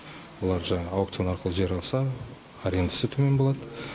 олар жаңағы аукцион арқылы жер алса арендасы төмен болады